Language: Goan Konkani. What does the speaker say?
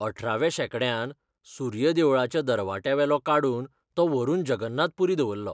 अठराव्या शेंकड्यांत सूर्य देवळाच्या दरवट्यावेलो काडून तो व्हरून जगन्नाथ पुरी दवरलो.